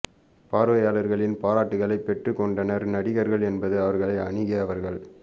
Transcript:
பார்வையாளர்களின் பாராட்டுக்களைப் பெற்றுக்கொண்டனர் நடிகர்கள் என்பது அவர்களை அணுகி அவர்கள்